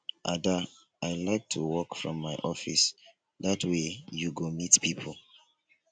ada i like to work from my office dat way you go meet people